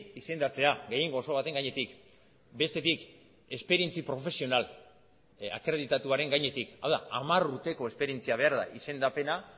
izendatzea gehiengo oso baten gainetik bestetik esperientzia profesional akreditatuaren gainetik hau da hamar urteko esperientzia behar da izendapena